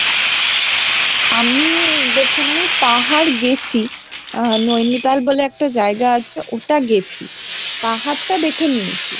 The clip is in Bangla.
আমি দেখুন আমি পাহাড় গেছি। আহ ন্যানিতাল বলে একটা জায়গা আছে। ওটা গেছি, পাহাড়টা দেখে নিয়েছি।